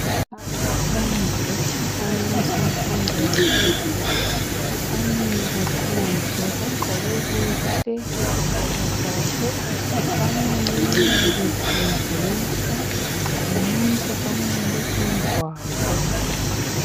Abafundi besikolo semfundo yaphezulu bamile phandle bagqoke kuhle izigqoko zabo balalele befundiswa ngumuntu omileyo phambi kwabo.